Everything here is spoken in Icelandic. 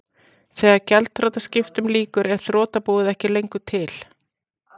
Þegar gjaldþrotaskiptum lýkur er þrotabúið ekki lengur til.